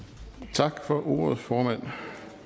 tak for ordet formand